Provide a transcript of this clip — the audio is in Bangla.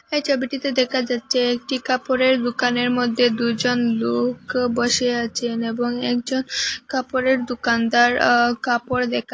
এই চবিটিতে দেকা যাচ্চে একটি কাপড়ের দোকানের মদ্যে দুইজন লুক বসে আচেন এবং একজন কাপড়ের দোকানদার আ কাপড় দেকা--